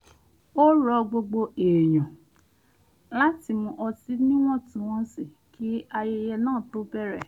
ó ro̩ gbogbo èèyàn láti mu ọtí níwọ̀ntúnwọ̀nsì kí ayẹyẹ náà tó bẹ̀rẹ̀